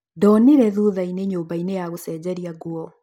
Ndonire thutha-inĩ nyũmba-inĩ ya gũcenjeria nguo